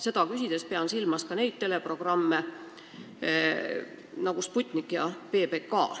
Seda küsides pean silmas ka selliseid teleprogramme nagu Sputnik ja PBK.